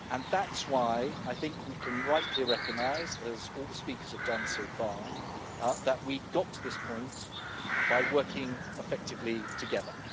That is why I think we can rightly recognise, as all the speakers have done so far, that we got to this point by working effectively together.